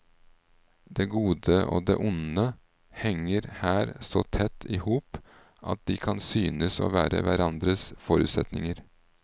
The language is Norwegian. Det gode og det onde henger her så tett i hop at de kan synes å være hverandres forutsetninger.